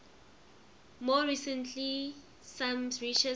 more recently some researchers have